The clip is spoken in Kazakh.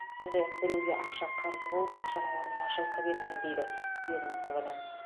сондай ақ біреуге ақша қарыз болып ақшаның орнына жылқы берген дейді ведомстводан